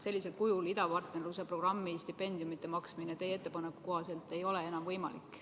Sellisel kujul idapartnerluse programmi stipendiumide maksmine ei ole teie ettepaneku kohaselt enam võimalik.